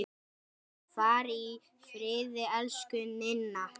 Far í friði, elsku Ninna.